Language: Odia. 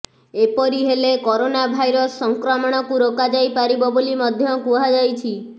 ଏପରି ହେଲେ କରୋନା ଭାଇରସ ସଂକ୍ରମଣକୁ ରୋକାଯାଇପାରିବ ବୋଲି ମଧ୍ୟ କୁହାଯାଇଛି